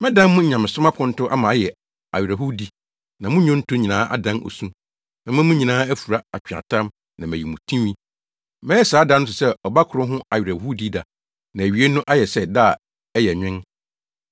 Mɛdan mo nyamesom aponto ama ayɛ awerɛhowdi na mo nnwonto nyinaa adan osu. Mɛma mo nyinaa afura atweaatam na mayi mo tinwi. Mɛyɛ saa da no te sɛ ɔba koro ho awerɛhowdida na awiei no ayɛ sɛ da a ɛyɛ nwen.